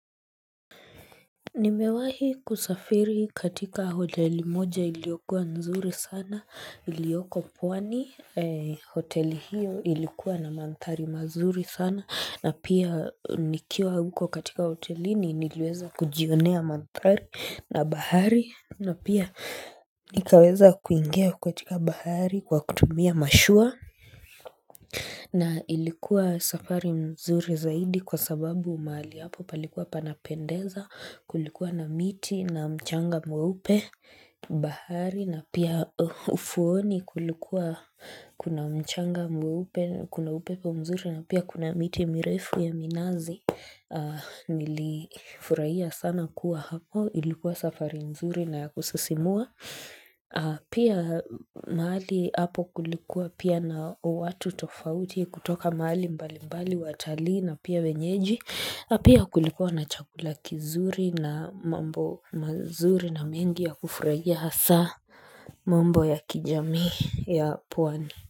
Nimewahi kusafiri katika hoteli moja iliokua nzuri sana ilioko pwani hoteli hiyo ilikuwa na manthari mazuri sana na pia nikiwa huko katika hoteli ni nilweza kujionea manthari na bahari na pia nikaweza kuingia katika bahari kwa kutumia mashua na ilikuwa safari nzuri zaidi kwa sababu mali hapo palikuwa panapendeza kulikuwa na miti na mchanga mweupe bahari na pia fuoni kulikuwa kuna mchanga mweupe kuna upepo mzuri na pia kuna miti mirefu ya minazi nilifurahia sana kuwa hapo ilikuwa safari nzuri naya kusisimua. Pia maali hapo kulikuwa pia na watu tofauti kutoka maali mbali mbali watali na pia wenyeji Pia kulikuwa na chakula kizuri na mambo mazuri na mengi ya kufurahia hasa mambo ya kijami ya pwani.